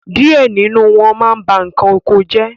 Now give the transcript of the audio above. díẹ̀ nínú wọn ma ń ba nǹkan oko jẹ́.